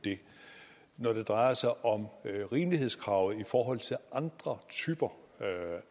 det når det drejer sig om rimelighedskravet i forhold til andre typer